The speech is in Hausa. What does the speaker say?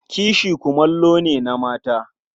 Kishi kumallo ne na mata.